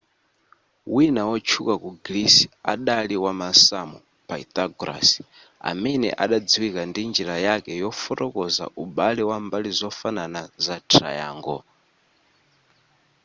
wina wotchuka ku greece adali wamasamu pythagoras amene adadziwika ndi njira yake yofotokoza ubale wa mbali zofanana za triangle